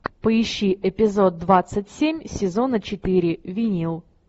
поищи эпизод двадцать семь сезона четыре винил